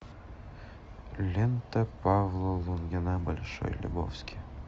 лента павла лунгина большой лебовски